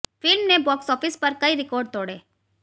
film ने box office पर कई रिकॉर्ड तोड़े